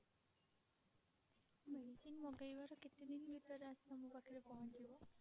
medicine ମଗେଇବାର କେତେ ଦିନ ଭିତରେ ଆସିକି ଆମ ପାଖରେ ପହଞ୍ଚିବ?